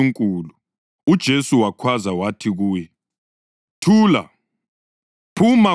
UJesu wakhwaza wathi kuye “Thula! Phuma kuye!”